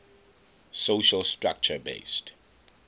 social structure based